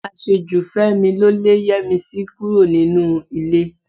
Àṣejù Fẹ́mi ló lé Yẹ́misí kúrò nínú ilé